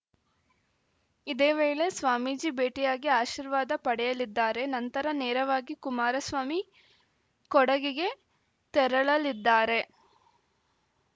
ಇದೇ ವೇಳೆ ಸ್ವಾಮೀಜಿ ಭೇಟಿಯಾಗಿ ಆಶೀರ್ವಾದ ಪಡೆಯಲಿದ್ದಾರೆ ನಂತರ ನೇರವಾಗಿ ಕುಮಾರಸ್ವಾಮಿ ಕೊಡಗಿಗೆ ತೆರಳಲಿದ್ದಾರೆ